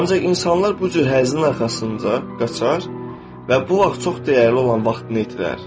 Ancaq insanlar bu cür həzzin arxasınca qaçar və bu vaxt çox dəyərli olan vaxtını itirər.